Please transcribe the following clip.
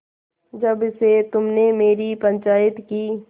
जब से तुमने मेरी पंचायत की